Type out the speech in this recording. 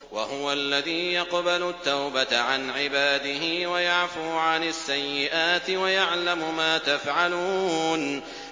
وَهُوَ الَّذِي يَقْبَلُ التَّوْبَةَ عَنْ عِبَادِهِ وَيَعْفُو عَنِ السَّيِّئَاتِ وَيَعْلَمُ مَا تَفْعَلُونَ